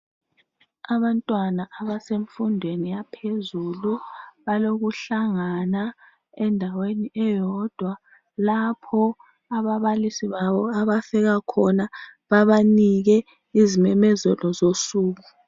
Abantwana abasemfundweni yaphezulu balokuhlangana endaweni eyodwa lapho ababalisi babo abafika khona babanike izimemezelo zosuku.